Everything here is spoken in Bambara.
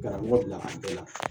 Karamɔgɔ bila a bɛɛ la